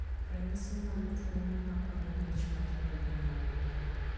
Ranyisi mag tuo mamako nyimbi ich matindo gin mage?